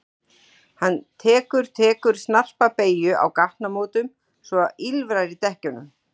Hann tekur tekur snarpa beygju á gatnamótum svo að ýlfrar í dekkjunum.